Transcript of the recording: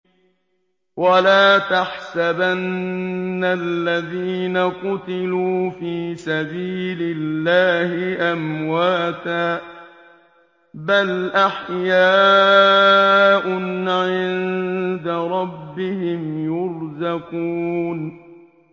وَلَا تَحْسَبَنَّ الَّذِينَ قُتِلُوا فِي سَبِيلِ اللَّهِ أَمْوَاتًا ۚ بَلْ أَحْيَاءٌ عِندَ رَبِّهِمْ يُرْزَقُونَ